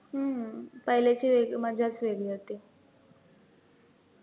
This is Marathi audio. हम्म पहिल्याची वेग मजाचं वेगळी होती.